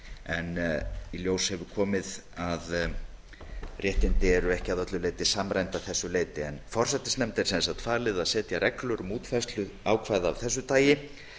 en í ljós hefur komið að réttindi eru ekki að öllu leyti samræmd að þessu leyti en forsætisnefnd er sem sagt falið að setja reglur um útfærslu ákvæða af þessu tagi